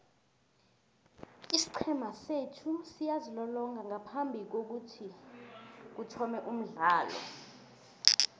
isiqhema sethu siyazilolonga ngaphambikokuthoma umdlalo